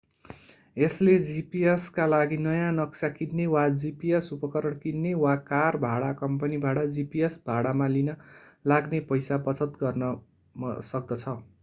यसले gps का लागि नयाँ नक्सा किन्ने वा gps उपकरण किन्ने वा कार भाडा कम्पनीबाट gps भाडामा लिन लाग्ने पैसा बचत गर्न सक्दछ